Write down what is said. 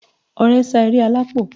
Ọrẹ sá eré alápò